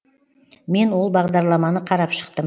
мен ол бағдарламаны қарап шықтым